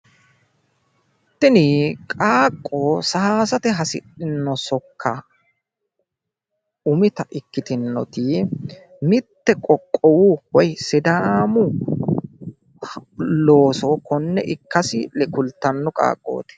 tini qaaqqo saayiisate hasidhino sokka umita ikkitinnoti mitte qoqqowu woy sidaamu looso konne ikkasi kultanno qaaqooti.